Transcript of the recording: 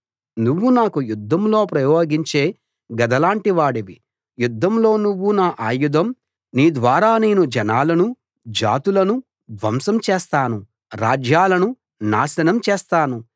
నువ్వు నాకు యుద్ధంలో ప్రయోగించే గద లాంటి వాడివి యుద్ధంలో నువ్వు నా ఆయుధం నీ ద్వారా నేను జనాలనూ జాతులనూ ధ్వంసం చేస్తాను రాజ్యాలను నాశనం చేస్తాను